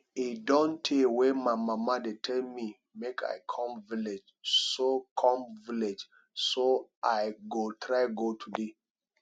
e don tey wey my mama dey tell me make i come village so come village so i go try go today